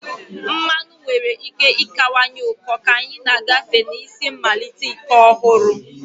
Mmanụ nwere ike ịkawanye ụkọ ka anyị na-agafe na isi mmalite ike ọhụrụ.